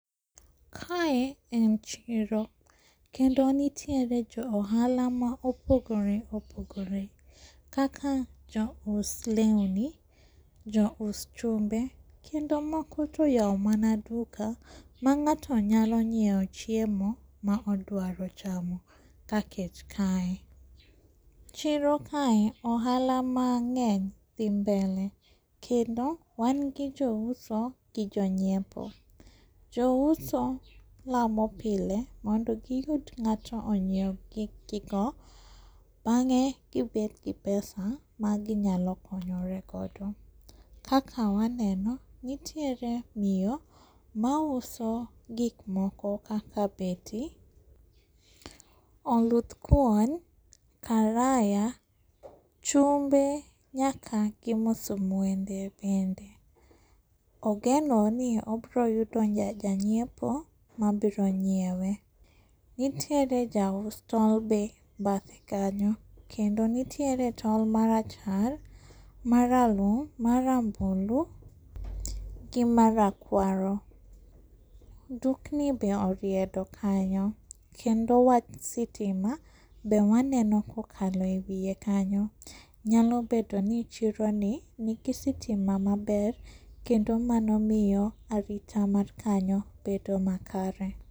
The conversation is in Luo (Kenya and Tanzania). Kae en chiro kendo nitiere jo ohala ma opogore opogore kaka jous leuni, jous chumbe kendo moko toyao mana duka mang'ato nyalo nyieo chiemo maodwaro chamo ka kech kae. Chiro kae ohala mang'eny dhi mbelet kendo wan gi jouso gi jonyiepo. Jouso lamo pile mondo giyud ng'ato onyieu gikgigo bang'e kibetgi pesa maginyalo konyore godo. Kaka waneno nitiere miyo mauso gikmoko kaka beti, oludh kuon, karaya, chumbe nyaka gi musumwende bende. Ogeno ni obiroyudo janyiepo mabiro nyiewe. Nitiere jaus tong' be badhe kanyo, kendo nitiere tong' marachar, maralum, marambulu gi mar rakwaro. Dukni be oriedo kanyo, kendo wach sitima be waneno kokalo e wie kanyo, nyalo bedoni chironi nigi sitima maber kendo mano miyo arita mar kanyo bedo makare.